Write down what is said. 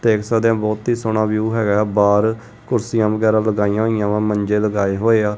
ਦੇਖ ਸਕਦੇ ਹਾਂ ਬਹੁਤ ਹੀ ਸੋਹਣਾ ਵਿਊ ਹੈਗਾ ਹੈ ਬਾਹਰ ਕੁਰਸੀਆਂ ਵਗੈਰਾ ਲਗਾਈਆਂ ਹੋਇਆਂ ਵਾਂ ਮੰਜੇ ਲਗਾਏ ਹੋਏਆ।